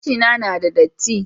Gashina na da datti